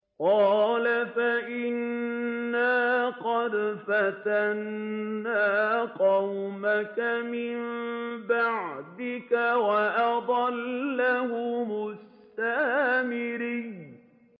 قَالَ فَإِنَّا قَدْ فَتَنَّا قَوْمَكَ مِن بَعْدِكَ وَأَضَلَّهُمُ السَّامِرِيُّ